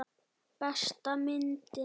Besta myndin.